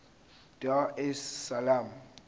dar es salaam